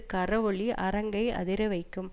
கரவொலி அரங்கை அதிரவைக்கும்